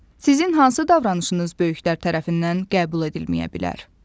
Sizin hansı davranışınız böyüklər tərəfindən qəbul edilməyə bilər?